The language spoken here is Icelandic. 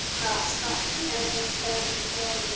Kæri stóri bróðir minn.